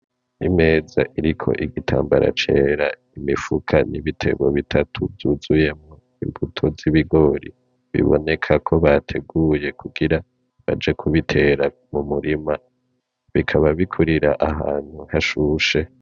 Imeza iriko igitambara cera, imifuko n'ibiterwa bitatu vyuzuyemwo imbuto z'ibigori bibonekako bateguye kugira baje kubitera mumurima bikaba bikurira ahantu hashushe .